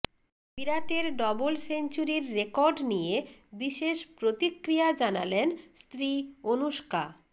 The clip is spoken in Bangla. বিরাটের ডবল সেঞ্চুরির রেকর্ড নিয়ে বিশেষ প্রতিক্রিয়া জানালেন স্ত্রী অনুষ্কা